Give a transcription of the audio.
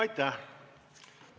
Aitäh!